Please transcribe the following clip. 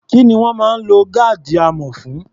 Kí ni wọ́n máa ń lo gáàdì amọ̀ fún?